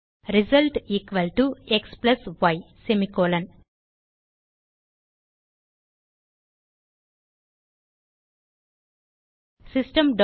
Result xy system